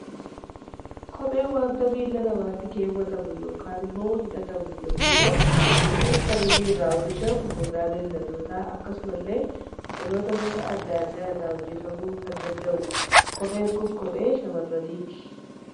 Kopheen waanta miila namaatti keewwatamu, yookaan immoo hidhatamu yemmuu ta'u, innis kan inni irraa oomishamu gogaa Bineeldota, akkasuma illee biqiloota gosa addaa addaa irraa hojjetamuu kan danda'udha. Kopheen Kun kophee shamaarraniiti.